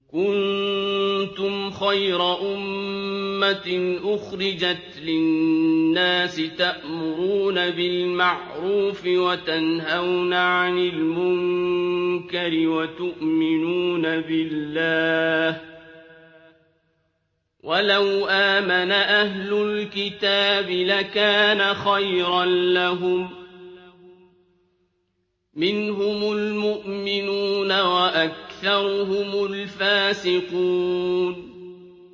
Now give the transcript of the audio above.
كُنتُمْ خَيْرَ أُمَّةٍ أُخْرِجَتْ لِلنَّاسِ تَأْمُرُونَ بِالْمَعْرُوفِ وَتَنْهَوْنَ عَنِ الْمُنكَرِ وَتُؤْمِنُونَ بِاللَّهِ ۗ وَلَوْ آمَنَ أَهْلُ الْكِتَابِ لَكَانَ خَيْرًا لَّهُم ۚ مِّنْهُمُ الْمُؤْمِنُونَ وَأَكْثَرُهُمُ الْفَاسِقُونَ